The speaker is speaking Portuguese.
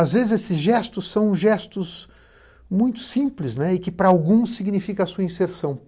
às vezes, esses gestos são gestos muito simples né e que, para alguns, significa a sua inserção.